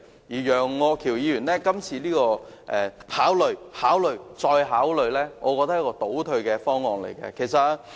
楊岳橋議員今次提出的考慮、考慮、再考慮建議，我認為是一個倒退的方案。